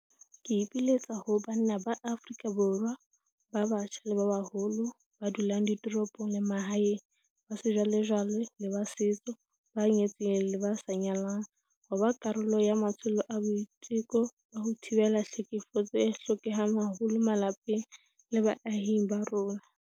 Ke ipiletsa ho banna ba Afrika Borwa ba batjha le ba baholo, ba dulang ditoropong le ba mahaeng, ba sejwalejwale le ba setso, ba nyetseng le ba sa nyalang, ho ba karolo ya matsholo a boiteko ba ho thibela tlhekefetso a hlokehang haholo malapeng le baahing ba rona.